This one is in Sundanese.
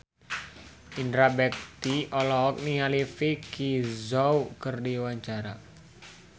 Indra Bekti olohok ningali Vicki Zao keur diwawancara